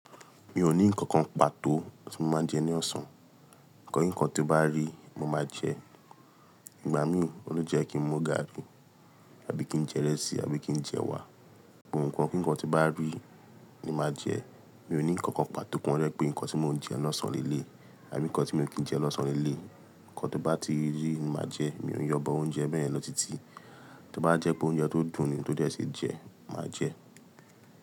Mi ò ní ǹkankan pàtó tí mo máa ń jẹ ní ọ̀sán. Ǹkan nkankan tí n bá rí mo máa n jẹ. Ìgbà mí ò le jẹ́ kí ń mu gaàrí àbí kí ń jẹ ìrẹsì àbí kí ń jẹ ẹwà. Nkan ku ǹkan tí n bá rí ní máa jẹ. Mi ò ní ǹkankan pàtó to jẹ pé ǹkan tí mò ń jẹ lọ́sàn-án lélé àbí ǹkan tí mi o kin jẹ lọ́sàn-án lélè. Ǹkan tó bá ti rí ní máa jẹ. Mi ò ń yọbọ oúnjẹ bẹ́ẹ̀yẹ̀n lọ títí. Tó bá jẹ́ pé oúnjẹ tó dùn ni tó dẹ́ ṣe jẹ, màá jẹ ẹ́.